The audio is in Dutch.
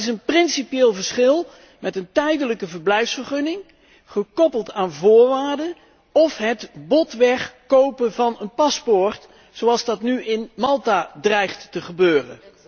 Maar er is een principieel verschil met een tijdelijke verblijfsvergunning gekoppeld aan voorwaarden, of het botweg kopen van een paspoort zoals dat nu in Malta dreigt te gebeuren.